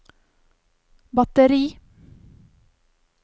batteri